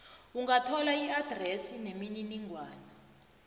ungathola iadresi nemininingwana